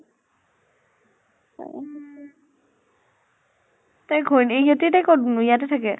উম তাৰ ঘৈণী ইহতে এতিয়া কʼত নো ইয়াতে থাকে?